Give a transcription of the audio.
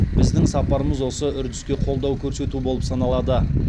біздің сапарымыз осы үрдіске қолдау көрсету болып саналады